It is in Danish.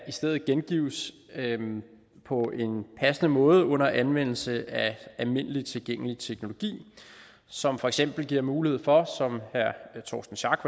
i stedet gengives på en passende måde under anvendelse af almindelig tilgængelig teknologi som for eksempel giver mulighed for som herre torsten schack